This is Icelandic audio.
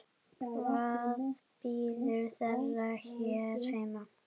Hvað bíður þeirra hér heima?